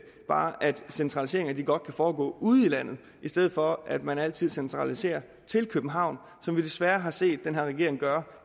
bare at centraliseringer godt kan foregå ude i landet i stedet for at man altid centraliserer til københavn som vi desværre har set den her regering gøre